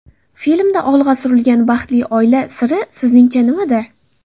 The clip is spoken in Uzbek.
Filmda olg‘a surilgan baxtli oila siri sizningcha nimada?